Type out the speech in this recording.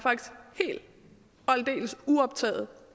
aldeles uoptaget